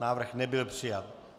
Návrh nebyl přijat.